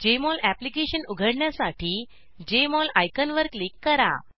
Jmol application उघडण्यासाठी Jmol आयकॉनवर click करा